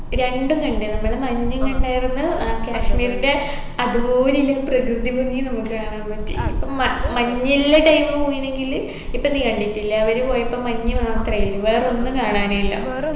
രണ്ടും കണ്ട് നമ്മൾ മഞ്ഞും കണ്ടായിരുന്നു ഏർ കാശ്മീരിൻെറ അതുപോലില്ല പ്രകൃതി ഭംഗിയും നമ്മുക്ക് കാണാൻ പറ്റി മ മഞ്ഞില്ല time പോയിനെങ്കില് ഇപ്പൊ നീ കണ്ടിട്ടില്ലേ അവര് പോയപ്പോ മഞ്ഞ് മാത്രെ ഇല്ലു വേറൊന്നും കാണാനില്ല